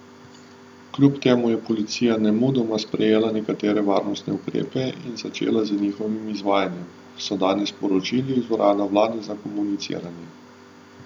Kljub temu je policija nemudoma sprejela nekatere varnostne ukrepe in začela z njihovim izvajanjem, so danes sporočili iz urada vlade za komuniciranje.